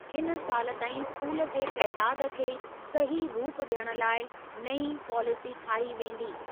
हिन साल ताईं स्कूलनि जे तइदाद खे सही रूप ॾियण लाइ नईं पॉलिसी ठाही वेंदी।